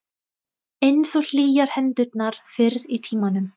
Einsog hlýjar hendurnar fyrr í tímanum.